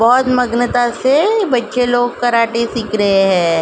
बहुत मगंता से बच्चे लोग कराटे सीख रहे है।